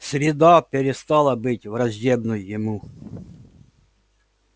среда перестала быть враждебной ему